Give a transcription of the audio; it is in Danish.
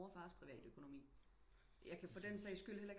Mors og fars privatøkonomi jeg kan for den sags skyld